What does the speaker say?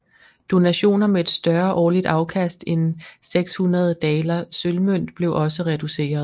Donationer med et større årligt afkast end 600 daler sølvmønt blev også reduceret